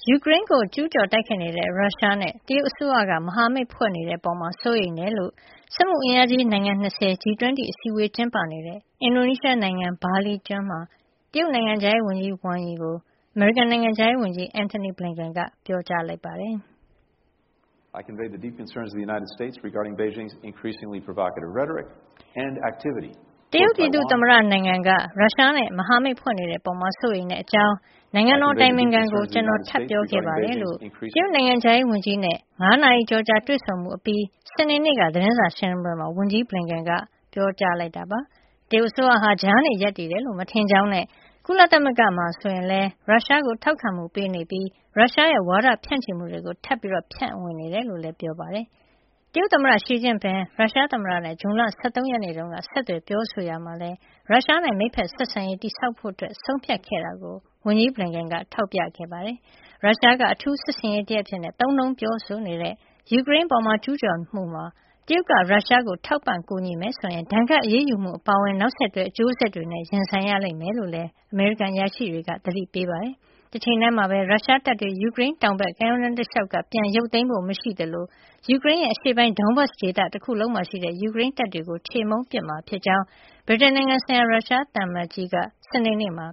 ယူကရိန်းကို ကျုးကျော်တိုက်ခိုက်နေတဲ့ ရုရှားနဲ့ တရုတ်အစိုးရက မဟာမိတ်ဖွဲ့နေတဲ့အပေါ် စိုးရိမ်ကြောင်း စက်မှုအင်အားကြီး နိုင်ငံ ၂၀ G-20 အစည်းအဝေး ကျင်းပနေတဲ့ အင်ဒိုနီးရှားနိုင်ငံ ဘာလီကျွန်းမှာ တရုတ်နိုင်ငံခြားရေးဝန်ကြီး ဝမ်ယီကိုအမေရိကန်နိုင်ငံခြားရေးဝန်ကြီး Antony Blinken က ပြောလိုက်ပါတယ်။ "တရုတ်ပြည်သူ့သမ္မတနိုင်ငံက ရုရှားနဲ့ မဟာမိတ်ဖွဲ့နေတဲ့အပေါ် စိုးရိမ်တဲ့ အကြောင်း နိုင်ငံတော်အတိုင်ပင်ခံကို ကျနော်ထပ်ပြောခဲ့ပါတယ်။" လို့ တရုတ်နိုင်ငံခြားရေးနဲ့ ၅ နာရီကျော်ကြာ တွေ့ဆုံမှုအပြီး စနေနေ့က သတင်းစာ ရှင်းလင်းပွဲမှာ ဝန်ကြီး ဘလင်ကန်က ပြောဆိုလိုက်တာပါ။ တရုတ်အစိုးရဟာ ကြားနေရပ်တည်တယ်လို့ မထင်ကြောင်းနဲ့ ကုလသမဂ္ဂမှာ ဆိုရင်လည်း ရုရှားကို ထောက်ခံမှုပေးနေပြီး ရုရှားရဲ့ ဝါဒဖြန့်ချီမှုတွေကို ထပ်ဆင့် ဖြန့်ဝေနေတယ်လို့လည်း ပြောပါတယ်။ တရုတ်သမ္မတ ရှီကျင့်ဖျင် ရုရှားသမ္မတနဲ့ က ဇွန်လ ၁၃ ရက်နေ့တုန်း ဆက်သွယ်ပြောဆိုရာမှာလည်း၊ ရုရှားနဲ့ မိတ်ဖက်ဆက်ဆံရေး တည်ဆောက်ဖို့ ဆုံးဖြတ်ခဲ့တာကိုလည်း ဝန်ကြီးဘလင်ကန်က ထောက်ပြခဲ့တာပါ။ ရုရှားက အထူးစစ်ဆင်ရေးတရပ်အဖြစ် သုံးနှုန်းပြောဆိုနေတဲ့ ယူကရိန်းအပေါ် ကျုးကျော်မှုမှာ တရုတ်က ရုရှားကို ထောက်ပံ့ကူညီမယ်ဆိုရင်၊ ဒဏ်ခတ်အရေးယူမှု အပါအဝင် နောက်ဆက်တွဲ အကျိုးဆက်တွေနဲ့ ရင်ဆိုင်ရမယ်လို့လည်း အမေရိကန်အရာရှိတွေက သတိပေးထားတာပါ။ တချိန်တည်းမှာပဲ ရုရှားတပ်တွေဟာ ယူကရိန်းတောင်ဘက် ကမ်းရိုးတန်းတလျှောက်ကနေ ပြန်ရုပ်သိမ်းဖို့ မရှိသလို ယူကရိန်းရဲ့ အရှေ့ပိုင်း Donbas ဒေသတခုလုံးမှာရှိတဲ့ ယူကရိန်းတပ်တွေကို ချေမှုန်းပစ်မှာ ဖြစ်ကြောင်း ဗြိတိန်နိုင်ငံဆိုင်ရာ ရုရှားသံအမတ်ကြီး Andrei Kelin က စနေနေ့မှာ